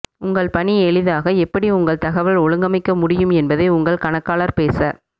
உங்கள் பணி எளிதாக எப்படி உங்கள் தகவல் ஒழுங்கமைக்க முடியும் என்பதை உங்கள் கணக்காளர் பேச